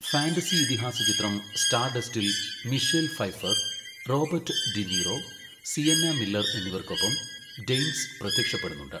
Fantasy ഇതിഹാസ ചിത്രം സ്റ്റാർഡസ്റ്റിൽ Michelle Pfeiffer, Robert De Niro, Sienna Miller എന്നിവർക്കൊപ്പം ഡെയ്ൻസ് പ്രത്യക്ഷപ്പെടുന്നുണ്ട്.